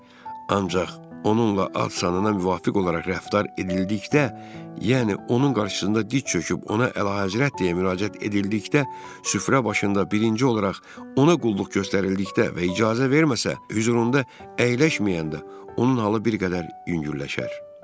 Ancaq onunla ad-sanına müvafiq olaraq rəftar edildikdə, yəni onun qarşısında diz çöküb ona əlahəzrət deyə müraciət edildikdə, süfrə başında birinci olaraq ona qulluq göstərildikdə və icazə verməsə, hüzurunda əyləşməyəndə, onun halı bir qədər yüngülləşər.